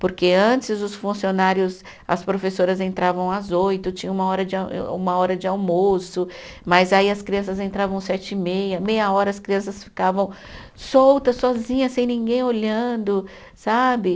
Porque antes os funcionários, as professoras entravam às oito, tinha uma hora de a e, uma hora de almoço, mas aí as crianças entravam sete e meia, meia hora as crianças ficavam soltas, sozinhas, sem ninguém olhando, sabe?